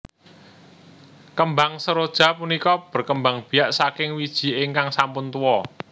Kembang seroja punika berkembang biak saking wiji ingkang sampun tuwa